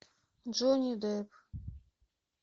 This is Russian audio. джонни депп